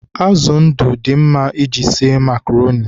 Azụ ndụ dị mma iji sie makroni